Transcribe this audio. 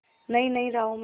नई नई राहों में